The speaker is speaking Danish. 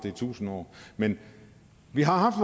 i tusind år men vi har haft